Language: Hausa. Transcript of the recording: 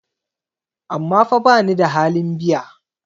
amma fa bani da halin biya?